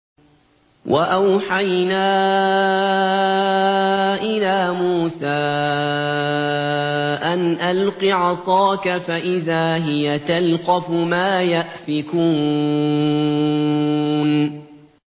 ۞ وَأَوْحَيْنَا إِلَىٰ مُوسَىٰ أَنْ أَلْقِ عَصَاكَ ۖ فَإِذَا هِيَ تَلْقَفُ مَا يَأْفِكُونَ